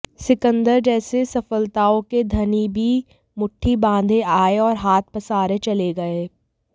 सिकंदर जैसे सफलताओं के धनी भी मुट्ठी बांधे आए और हाथ पसारे चले गए